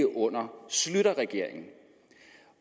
under schlüterregeringen